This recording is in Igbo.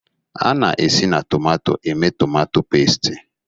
A na-esi na tomato emee tomatọ pẹ́stị.